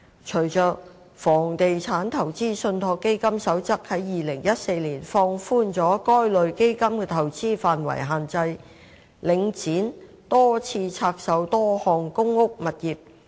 隨着《房地產投資信託基金守則》於2014年放寬了該類基金的投資範圍限制，領展多次拆售多項公屋物業。